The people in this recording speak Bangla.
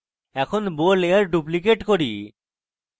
এখন bow layer duplicate করি